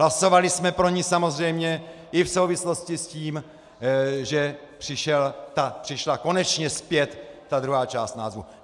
Hlasovali jsme pro ni samozřejmě i v souvislosti s tím, že přišla konečně zpět ta druhá část názvu.